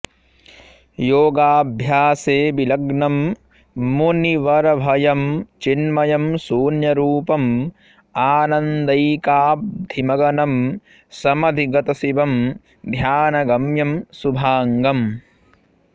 योगाभ्यासे विलग्नं मुनिवरभयं चिन्मयं शून्यरूपं आनन्दैकाब्धिमगनं समधिगतशिवं ध्यानगम्यं शुभाङ्गम्